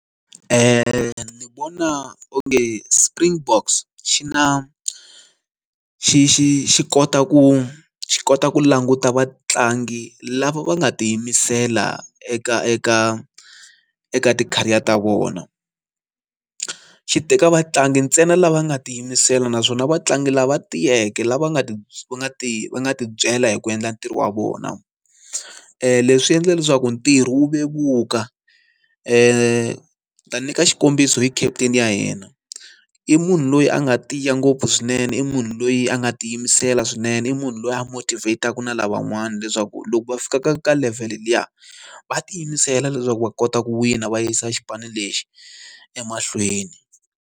Ni vona onge Springboks xi na xi xi xi kota ku xi kota ku languta vatlangi lava va nga tiyimisela eka eka eka ti-career ta vona, xi teka vatlangi ntsena lava nga ti yimisela naswona vatlangi lava tiyeke lava nga ti va ti va ti byela hi ku endla ntirho wa vona leswi endla leswaku ntirho wu vevuka ni ta nyika xikombiso i khampani ya yena i munhu loyi a nga tiya ngopfu swinene i munhu loyi a nga ti yimisela swinene i munhu loyi a motivat-aka na lavan'wana leswaku loko va fika ka ka level liya va ti yimisela leswaku va kota ku wina va yisa xipano lexi emahlweni.